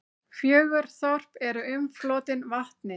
Fjögur þorp eru umflotin vatni.